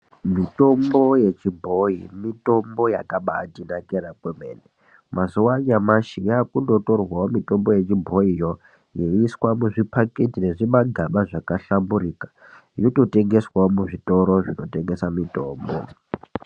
Mitombo yechibhoyi mitombo yakabatinakira kwemene, mazuwa anaya yakundotorwawo mitombo yechibhoyiyo yeiiswa muzvimapakiti nezvimagaba zvakahlamburuka yototengeswawo muzvitoro zvinotengese mitombo.